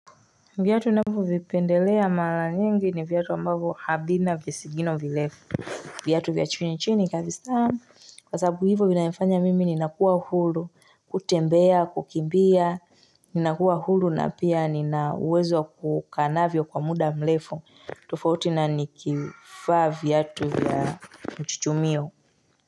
Vyatu nafu vipendelea mala nyingi ni vyatu ambavo havina visigino vilefu Vyatu vya chini chini kabisaa kwa sababu hivo vinanifanya mimi ninakuwa hulu kutembea kukimbia ninakuwa hulu na pia ninawezo kukanavyo kwa muda mlefu tofauti na nikifaa vyatu vya mchuchumio.